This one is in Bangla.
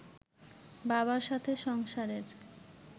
বাবার সাথে সংসারের